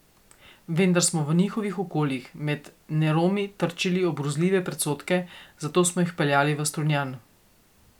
Vendar smo v njihovih okoljih med Neromi trčili ob grozljive predsodke, zato smo jih peljali v Strunjan.